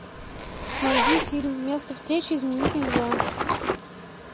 найди фильм место встречи изменить нельзя